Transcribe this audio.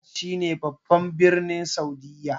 Riyad shi ne babban birnin Saudiyya